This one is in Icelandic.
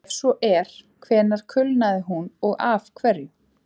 Ef svo er, hvenær kulnaði hún og af hverju?